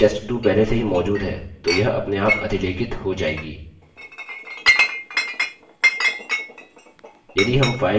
यदि test2 पहले से ही मौजूद है तो यह अपनेआप अधिलेखित हो जायेगी